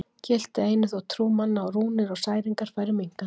Gilti einu þótt trú manna á rúnir og særingar færi minnkandi.